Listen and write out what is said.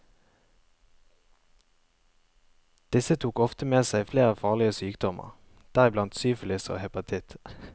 Disse tok ofte med seg flere farlige sykdommer, deriblant syfilis og hepatitt.